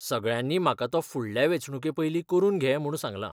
सगळ्यांनी म्हाका तो फुडल्या वेंचणुके पयली करून घे म्हूण सांगलां.